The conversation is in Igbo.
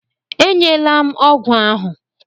E nyela m ọgwụ ahụ!